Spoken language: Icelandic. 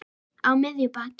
Á miðju baki.